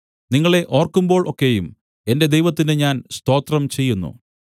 നിങ്ങളെ ഓർക്കുമ്പോൾ ഒക്കെയും എന്റെ ദൈവത്തിന് ഞാൻ സ്തോത്രം ചെയ്യുന്നു